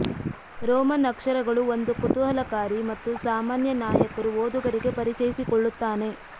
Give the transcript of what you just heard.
Roman ಅಕ್ಷರಗಳು ಒಂದು ಕುತೂಹಲಕಾರಿ ಮತ್ತು ಅಸಾಮಾನ್ಯ ನಾಯಕರು ಓದುಗರಿಗೆ ಪರಿಚಯಿಸಿಕೊಳ್ಳುತ್ತಾನೆ